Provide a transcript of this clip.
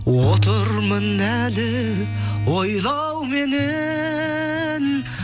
отырмын әлі ойламауменен